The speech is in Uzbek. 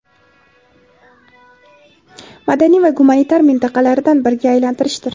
madaniy va gumanitar mintaqalaridan biriga aylantirishdir.